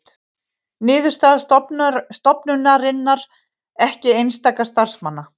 Niðurstaða stofnunarinnar ekki einstakra starfsmanna